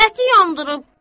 Əti yandırıb.